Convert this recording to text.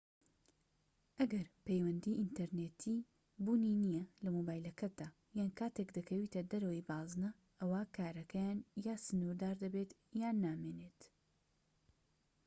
ئەگەر پەیوەندیی ئینتەرنێتیی بوونی نیە لە مۆبایلەکەتدا یان کاتێك دەکەویتە دەرەوەی بازنە ئەوا کارەکەیان یان سنوردار دەبێت یان نامێنێت